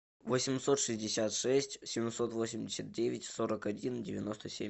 восемьсот шестьдесят шесть семьсот восемьдесят девять сорок один девяносто семь